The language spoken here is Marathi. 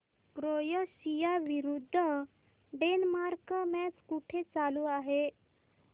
क्रोएशिया विरुद्ध डेन्मार्क मॅच कुठे चालू आहे